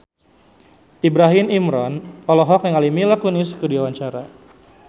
Ibrahim Imran olohok ningali Mila Kunis keur diwawancara